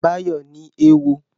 Báyọ̀ ní éwo